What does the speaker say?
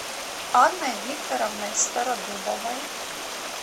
анной викторовной стародубовой